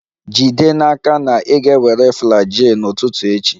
Jide n'aka na ị ga-ewere Flagyl n'ụtụtụ echi!